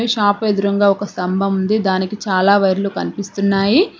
Shop ఎదురుగా ఒక స్తంభం ఉంది దానికి చాలా వైర్లు కనిపిస్తున్నాయి.